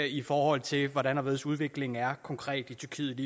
i forhold til hvordan og hvorledes udviklingen er konkret i tyrkiet